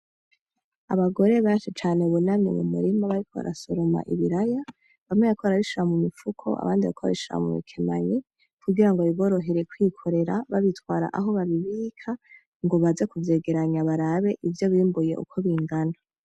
Abagore benshi cane bunamye mumurima bariko barasoroma ibiraya bamwe bariko barabishira bamwe bariko barabishira mumipfuko abandi bariko babishira mubi kemanyi kugira ngo biborohere kwikorera babitwara aho babibika ngo baze kuvyegeranya barabe ivyo bimbuye uko bingana.